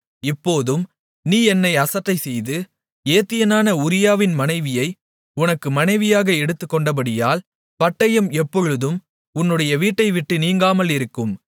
இப்போதும் நீ என்னை அசட்டைசெய்து ஏத்தியனான உரியாவின் மனைவியை உனக்கு மனைவியாக எடுத்துக்கொண்டபடியால் பட்டயம் எப்பொழுதும் உன்னுடைய வீட்டைவிட்டு நீங்காமலிருக்கும்